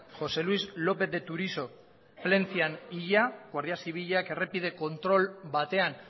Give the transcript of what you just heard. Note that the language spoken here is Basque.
josé luis lópez de turiso plentzian hila guardia zibilak errepide kontrol batean